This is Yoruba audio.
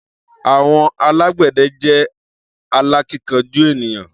Àwọn alágbẹ̀dẹ jẹ́ alákíkanjú ènìyàn.